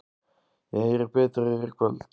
Ég heyri betur í þér í kvöld.